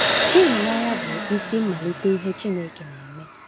Ịhụnanya bụ isi mmalite ihe Chineke na-eme.